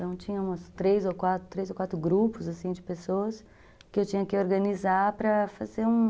Então, tinha uns três ou quatro grupos, assim de pessoas que eu tinha que organizar para fazer um...